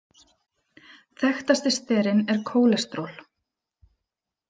Þekktasti sterinn er kólesteról.